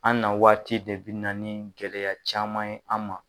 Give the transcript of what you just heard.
An na waati de bi na ni gɛlɛya caman ye an ma